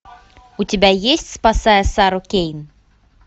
у тебя есть спасая сару кейн